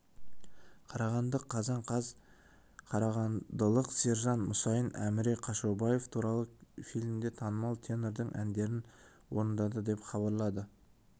қарағанды қазан қаз қарағандылық сержан мұсайын әміре қашаубаев туралы фильмде танымал тенордың әндерін орындады деп хабарлады